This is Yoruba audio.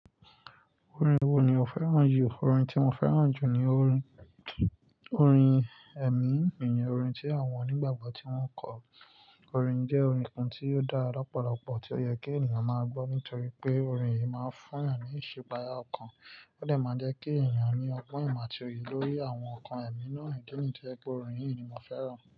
Orin wo ni o fẹ́ràn jù? Orin tí mo fẹ́ràn jù ni orin, orin ẹ̀mí, ìyẹn orin tí àwọn onígbàgbọ́ tí wọ́n ń kọ orin jẹ́ orin kan tí ó dára lópọ̀lọpọ̀ tí ó yẹ kí ènìyàn máa gbọ́ nítorí pé orin yìí máa ń fún ènìyàn ní ìṣipáyá ọkàn. Ó dà máa ń jẹ́ kí ènìyàn ní ọgbọ́n ìmọ̀ ti oye lórí àwọn nǹkan ẹ̀mí náà nìdí ní tí ẹ pé orin yìí ni mo fẹ́ràn.